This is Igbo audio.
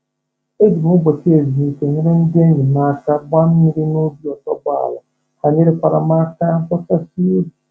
E ji m ụbọchị ezumike m nyere ndị enyi m aka gbaa mmiri n'ubi otuboala, ha nyekwara m aka bọchasịa ubi